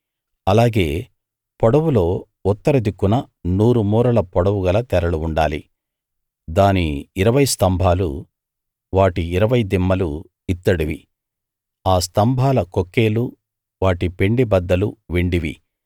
అలాగే పొడవులో ఉత్తర దిక్కున నూరు మూరల పొడవు గల తెరలు ఉండాలి దాని ఇరవై స్తంభాలు వాటి ఇరవై దిమ్మలు ఇత్తడివి ఆ స్తంభాల కొక్కేలు వాటి పెండెబద్దలు వెండివి